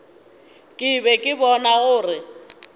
ke be ke bona gore